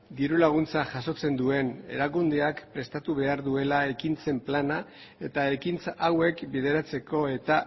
diru laguntza jasotzen duen erakundeak prestatu behar duela ekintzen plana eta ekintza hauek bideratzeko eta